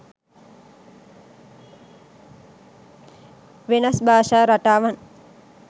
වෙනස් භාෂා රටාවන්